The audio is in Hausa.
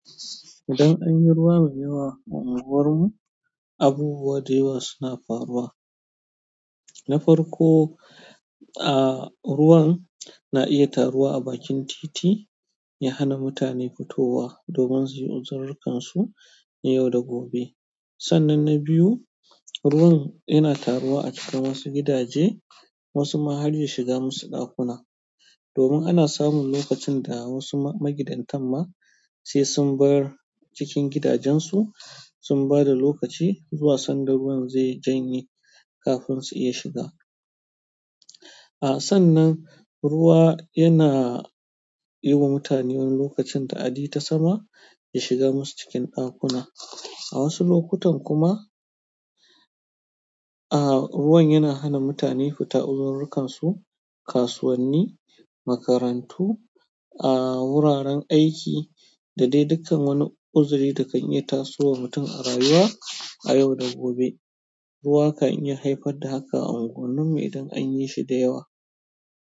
Idan an yi ruwa mai yawa a unguwarmu, abubuwa da yawa suna faruwa. Na farko, a, ruwan na iya taruwa a bakin titi, ya hana mutane fitowa domin su yi uzururukan na yau da gobe. Sannan na biyu, ruwan yana taruwa a cika wasu gidaje, wasu ma har ya shiga musu ɗakuna. Domin ana samun lokacin wasu magidantan ma sai sun bar gidajensu sun bada lokaci zuwa sanda ruwan zai janye kafin su iya fita a, sannan ruwa yana yi wa mutane wani lokacin ta'adi ta sama, ya shiga musu cikin ɗakuna. A wasu lokutan kuma, a, ruwan yana hana mutane fita uzururukansu kasuwanni, makarantu, a, wuraren aiki da dai dukkan wani uzuri da kan iya tasowa mutum a rayuwa a yau da gobe. Ruwa kan yi haifar da haka a unguwannu idan an yi shi da yawa.